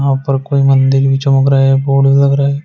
यहां पर कोई मंदिर भी चमक रहा है। बोर्ड लग रहा है।